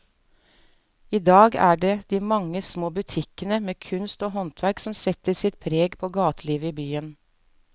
I dag er det de mange små butikkene med kunst og håndverk som setter sitt preg på gatelivet i byen.